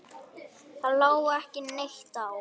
Það lá ekki neitt á.